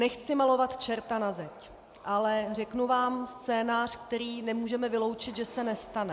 Nechci malovat čerta na zeď, ale řeknu vám scénář, který nemůžeme vyloučit, že se nestane.